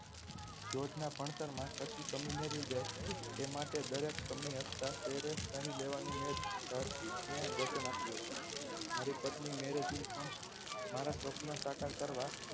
George ના ભણતરમાં કસી કમી ના રય જાય એ માટે દરેક કમી હસતા ચહેરે સહી લેવાનું મેં વચન આપ્યું હતું મારી પત્ની પણ મારુ સ્વપન સાકાર કરવા